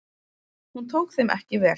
Hún tók þeim ekki vel.